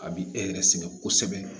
A bi e yɛrɛ sɛgɛn kosɛbɛ